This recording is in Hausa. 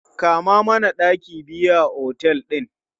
Kama mana ɗaki biyu a otel ɗin!